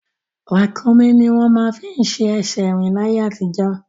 Ràkúnmí ni wọ́n máa ń fi ṣe ẹsẹ̀ rín ní ayé àtijọ́